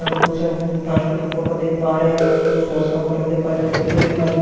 यहां पर कुछ फास्ट फ़ूड का फोटो देख पा रहे हैं कुछ दोस्त सॉस का बॉटल देख पा रहे व्यक्ती को देख पा रहे जो की --